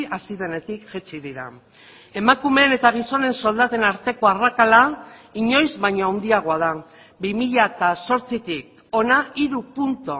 hasi denetik jaitsi dira emakumeen eta gizonen soldaten arteko arrakala inoiz baino handiagoa da bi mila zortzitik hona hiru puntu